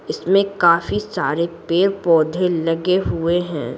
इसमें काफी सारे पेड़-पौधे लगे हुए है।